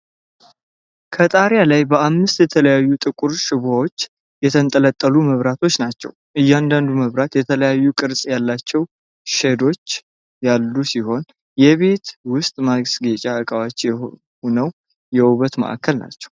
ከጣሪያ ላይ በአምስት የተለያዩ ጥቁር ሽቦዎች የተንጠለጠሉ መብራቶች ናቸው። እያንዳንዱ መብራት የተለያየ ቅርጽ ያላቸው ሼዶች (መከለያዎች) ያሉት ሲሆን፣ የቤት ውስጥ ማስጌጫ ዕቃዎች ሆነው የውበት ማዕከል ናቸው።